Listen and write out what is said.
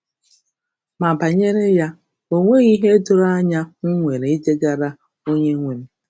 Ma banyere ya, ọ nweghị ihe doro anya m nwere idegara Onyenwe m.